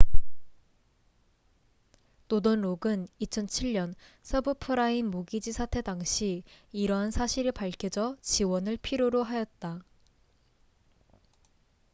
노던록은 2007년 서브프라임 모기지 사태 당시 이러한 사실이 밝혀져 지원을 필요로 하였다